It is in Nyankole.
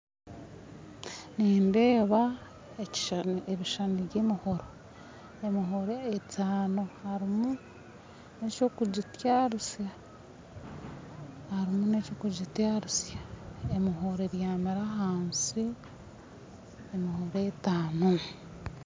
Nindeeba ebishishani by'emihoro, emihoro etaano, harimu na ekyokugitarisa, emihoro ebyamire ahansi, emihoro etaano.